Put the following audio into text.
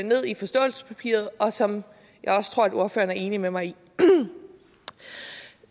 ned i forståelsespapiret og som jeg også tror ordføreren er enig med mig i